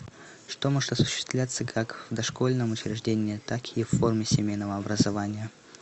что может осуществляться как в дошкольном учреждении так и в форме семейного образования